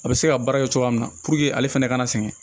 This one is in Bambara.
A bɛ se ka baara kɛ cogoya min na ale fɛnɛ ka na sɛgɛn